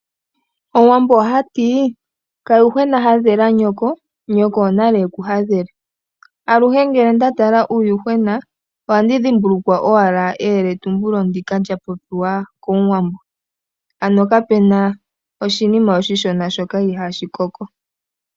Omuwambo ohati kayuhwena hadhela nyoko, nyoko onale ekuhadhele. Aluhe ngele ndatala uuyuhwena ohandi dhimbulukwa owala eyeletumbulo ndika lyapopiwa komuwambo. Ano kapena oshinima oshishona shoka ihashi koko.